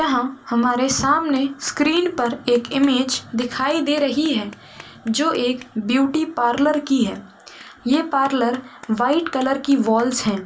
यहाँ हमारे सामने स्क्रीन पर एक इमेज दिखाई दे रही है जो एक ब्यूटी पार्लर की है। ये पार्लर वाइट कलर की वॉल्स हैं।